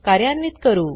कार्यान्वीत करू